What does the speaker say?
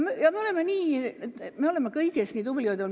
Me oleme kõiges nii tublid olnud.